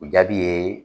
O jaabi ye